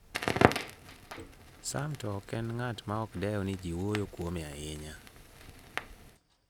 Sam to ok en ng'at maok dew ni ji wuoyo kuome ahinya.